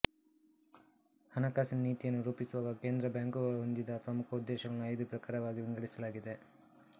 ಹಣಕಾಸಿನ ನೀತಿಯನ್ನು ರೂಪಿಸುವಾಗ ಕೇಂದ್ರ ಬ್ಯಾಂಕು ಹೊಂದಿದ ಪ್ರಮುಖ ಉದ್ದೇಶಗಳನ್ನು ಐದು ಪ್ರಕಾರಗಳಾಗಿ ವಿಂಗಡಿಸಲಾಗಿದೆ